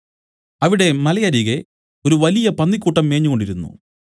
അവിടെ മലയരികെ ഒരു വലിയ പന്നിക്കൂട്ടം മേഞ്ഞുകൊണ്ടിരുന്നു